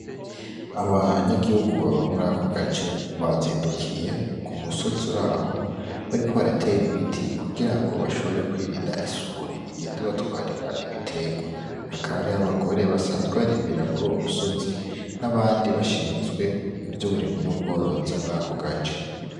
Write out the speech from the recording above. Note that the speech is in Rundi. Abanyagihugu baba murako gace bazindukiye k'umusoz'uraho bariko barater'ibiti kugirango bashobora kwirind'isuri igend'ibatwarira ibiterwa. Hakaba harih'Abagore basanzwe barimira kuruwo musozi ,n'abandi bashinzwe ivy'uburimyi n'ubworozi murako gace.